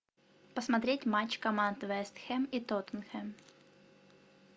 посмотреть матч команд вест хэм и тоттенхэм